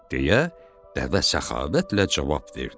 deyə dəvə səxavətlə cavab verdi.